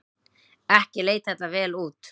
Ekki leit þetta vel út.